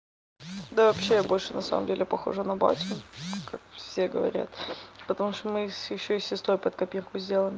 да вообще я больше на самом деле похожа на батю как все говорят потому что мы и ещё и с сестрой под копирку сделаны